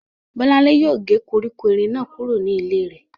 Bọ́lánlé yóò gé koríko erin náà kúrò ní ilé rẹ̀